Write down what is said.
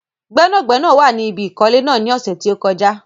Gbẹ́nàgbẹ́nà wà ní ibi ìkọ́lé náà ní ọ̀sẹ̀ tí ó kọjá